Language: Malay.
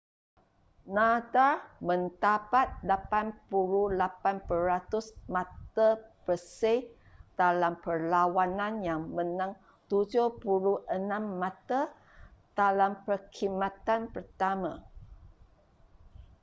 nadal mendapat 88% mata bersih dalam perlawanan yang menang 76 mata dalam perkhidmatan pertama